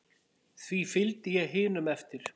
Því fylgdi ég hinum eftir.